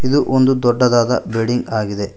ಇದು ಒಂದು ದೊಡ್ಡದಾದ ಬಿಲ್ಡಿಂಗ್ ಆಗಿದೆ.